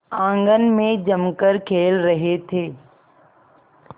आंगन में जमकर खेल रहे थे